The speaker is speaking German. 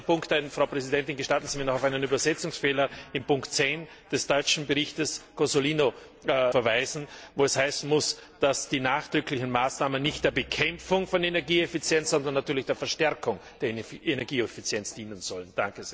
Letzter Punkt Frau Präsidentin, gestatten Sie mir, noch auf einen Übersetzungsfehler in Punkt zehn des deutschen Berichtes von Herrn Cozzolino zu verweisen, wo es heißen muss, dass die nachdrücklichen Maßnahmen nicht der Bekämpfung von Energieeffizienz, sondern natürlich der Verstärkung der Energieeffizienz dienen sollen.